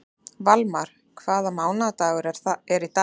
Valmar, hvaða mánaðardagur er í dag?